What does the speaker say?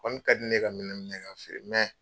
Kɔni kadi ne ye ka minɛn minɛ k'a feere